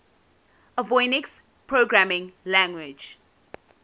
avionics programming language